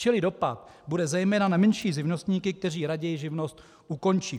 Čili dopad bude zejména na menší živnostníky, kteří raději živnost ukončí.